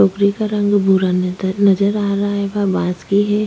टोकरी का रंग भूरा नजर नजर आ रहा है बांस भी है।